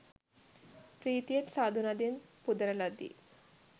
ප්‍රීතියෙන් සාධු නදින් පුදන ලදී.